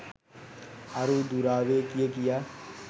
අරූ දුරාවේ කිය කියා